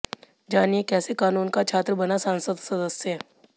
जानिए कैसे कानून का छात्र बना संसद सदस्य